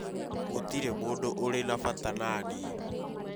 Gũtirĩ mũndũ ũrĩ na fata na niĩ